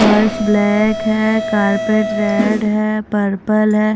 Purse black है carpet red है purple है।